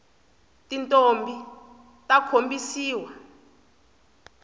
tintombhi ta khombisiwa